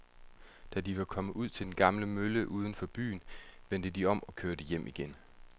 Da de var kommet ud til den gamle mølle uden for byen, vendte de om og kørte hjem igen.